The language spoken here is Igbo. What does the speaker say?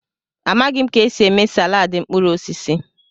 Amaghị m ka esi eme salaadị mkpụrụ osisi.